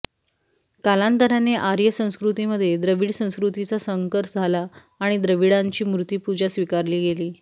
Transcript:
कालांतराने आर्य संस्कृतीमध्ये द्रविड संस्कृतीचा संकर झाला आणि द्रविडांची मूर्तीपूजा स्वीकारली गेली